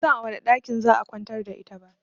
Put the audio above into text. Ban san a wane ɗakin za'a kwantar da ita ba